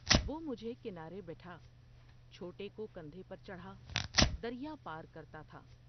وہ مجھے کنارے بٹھا ، چھوٹے کو کندھے پر چڑھا دریا پار کرتا تھا ۔